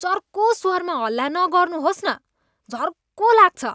चर्को स्वरमा हल्ला नगर्नुहोस् न, झर्को लाग्छ।